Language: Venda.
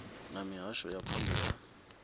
na mihasho ya pfunzo ya